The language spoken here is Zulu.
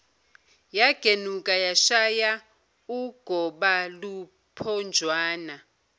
yagenuka yashaya ugobaluphonjwana